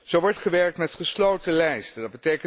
Zo wordt gewerkt met gesloten lijsten.